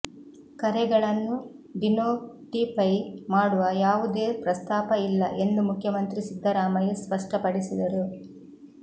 ಕರೆಗಳನ್ನು ಡಿನೋಟಿಫೈ ಮಾಡುವ ಯಾವುದೇ ಪ್ರಸ್ತಾಪ ಇಲ್ಲ ಎಂದು ಮುಖ್ಯಮಂತ್ರಿ ಸಿದ್ಧರಾಮಯ್ಯ ಸ್ಪಷ್ಟಪಡಿಸಿದರು